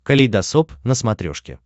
калейдосоп на смотрешке